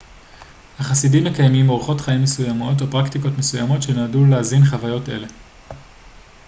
החסידים מקיימים אורחות חיים מסוימים או פרקטיקות מסוימות שנועדו להזין חוויות אלה